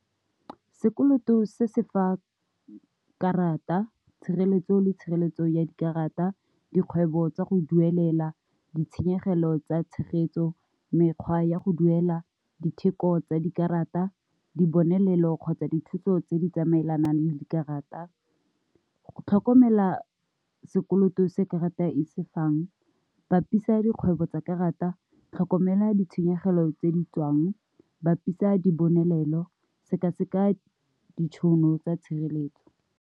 Sekoloto se se fa karata tshireletso le tshireletso ya dikarata, dikgwebo tsa go duelela ditshenyegelo tsa tshegetso, mekgwa ya go duela ditheko tsa dikarata, dibonelelo kgotsa dithuso tse di tsamaelanang le dikarata, go tlhokomela sekoloto se karata e sefang, katisa dikgwebo tsa karata, tlhokomela ditshenyegelo tse di tswang, bapisa di bonelelo, seka-seka ditšhono tsa tshireletso.